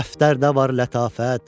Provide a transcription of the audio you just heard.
Dəftərdə var lətafət.